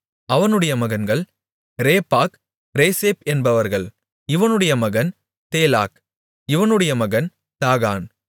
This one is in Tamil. அவனுடைய மகன்கள் ரேப்பாக் ரேசேப் என்பவர்கள் இவனுடைய மகன் தேலாக் இவனுடைய மகன் தாகான்